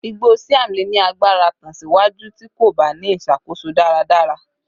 igbo Siam le ni agbara tan siwaju ti ko ba ni iṣakoso daradara